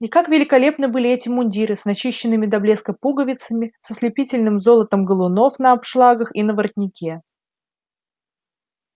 и как великолепны были эти мундиры с начищенными до блеска пуговицами с ослепительным золотом галунов на обшлагах и на воротнике